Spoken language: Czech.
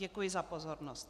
Děkuji za pozornost.